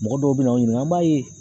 Mɔgɔ dɔw bɛ n'anw ɲininka, an b'a ye